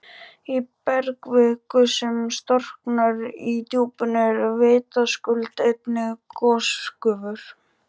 Í bergkviku, sem storknar í djúpinu, eru vitaskuld einnig gosgufur.